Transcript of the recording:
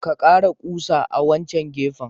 Ka kara kusa à wancan gefen.